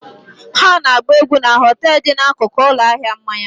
Ha na-agba egwu na họtel dị n'akụkụ ụlọ ahịa mmanya